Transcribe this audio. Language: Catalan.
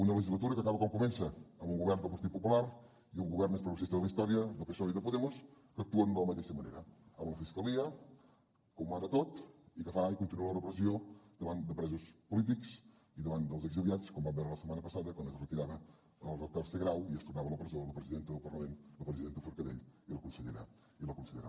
una legislatura que acaba com comença amb un govern del partit popular i el govern més progressista de la història del psoe i de podemos que actuen de la mateixa manera amb la fiscalia que ho mana tot i que fa i continua la repressió davant de presos polítics i davant dels exiliats com vam veure la setmana passada quan es retirava el tercer grau i es tornava a la presó la presidenta del parlament la presidenta forcadell i la consellera bassa